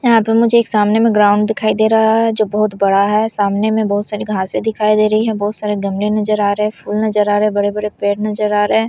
यहां पे मुझे एक सामने में ग्राउंड दिखाई दे रहा है जो बहुत बड़ा है सामने में बहुत सारी घासे दिखाई दे रही है बहुत सारे गमले नजर आ रहे हैं फूल नजर आ रहे हैं बड़े-बड़े पेड़ नजर आ रहे हैं।